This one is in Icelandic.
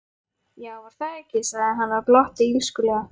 Já, var það ekki, sagði hann og glotti illskulega.